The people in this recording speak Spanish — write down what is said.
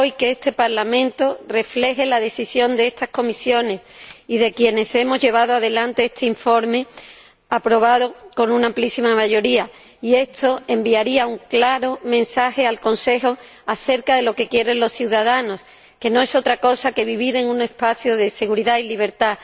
Espero hoy que este Parlamento refleje la decisión de estas comisiones y de quienes hemos llevado adelante este informe aprobado con una amplísima mayoría, ya que esto enviaría un claro mensaje al Consejo acerca de lo que quieren los ciudadanos, que no es otra cosa que vivir en un espacio de seguridad y libertad,